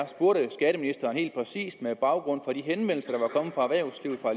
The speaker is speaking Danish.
med baggrund